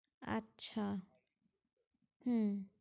আচ্ছা, হ্যাঁ